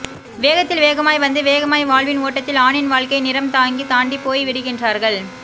வேகத்தில் வேகமாய் வந்து வேகமாய் வாழ்வின் ஓட்டத்தில் ஆணின் வாழ்க்கை நிறம் தாங்கி தாண்டிப் போய் விடுகின்றார்கள்